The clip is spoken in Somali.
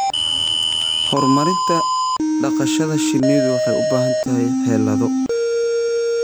Horumarinta dhaqashada shinnidu waxay u baahan tahay xeelado.